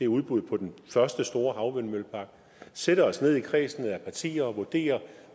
udbuddet på den første store havvindmøllepark sætte os ned i kredsen af partier og vurdere